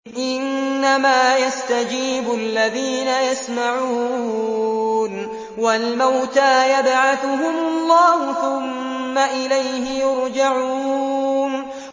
۞ إِنَّمَا يَسْتَجِيبُ الَّذِينَ يَسْمَعُونَ ۘ وَالْمَوْتَىٰ يَبْعَثُهُمُ اللَّهُ ثُمَّ إِلَيْهِ يُرْجَعُونَ